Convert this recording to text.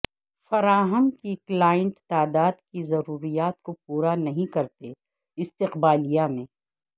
فراہم کی کلائنٹ تعداد کی ضروریات کو پورا نہیں کرتے استقبالیہ میں